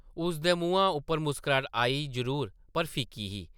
उसदे मुहां उप्पर मुस्कराह्ट आई जरूर ,पर फिक्की ही ।